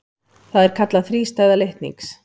Það er kallað þrístæða litnings.